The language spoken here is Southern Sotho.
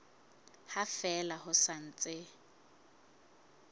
ha fela ho sa ntse